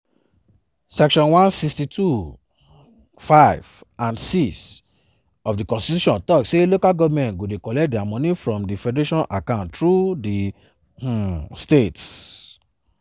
section 162 (5) and (6) of di constitution tok say local governments go dey collect dia money from di federation account through di um states.